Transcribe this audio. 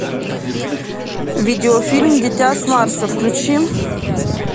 видеофильм дитя с марса включи